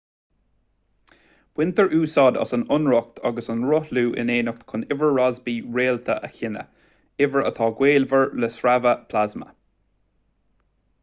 baintear úsáid as an lonracht agus an rothlú in éineacht chun uimhir rossby réalta a chinneadh uimhir atá gaolmhar le sreabhadh plasma